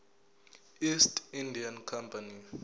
east india company